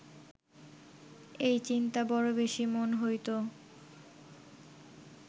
এই চিন্তা বড় বেশী মন হইত